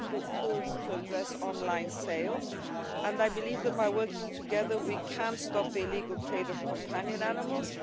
and more tools to address online sales, and I believe that by working together we can stop the illegal trade of companion animals.